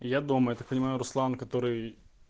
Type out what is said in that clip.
я дома я так понимаю руслан который